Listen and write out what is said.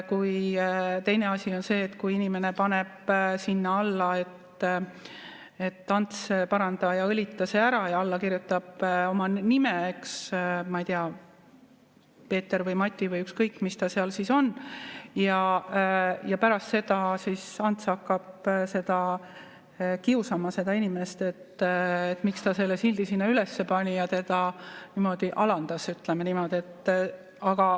Teine asi on see, kui inimene paneb sinna üles "Ants, paranda ja õlita see ära" ja alla kirjutab oma nime, ma ei tea, Peeter või Mati või ükskõik, kes ta seal on, ja pärast seda Ants hakkab kiusama seda inimest, et miks ta selle sildi sinna üles pani ja teda niimoodi alandas, ütleme niimoodi.